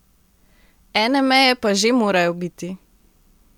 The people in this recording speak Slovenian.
Ene meje pa že morajo biti.